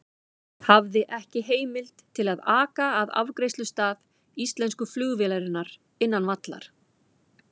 Hafði ekki heimild til að aka að afgreiðslustað íslensku flugvélarinnar innan vallar.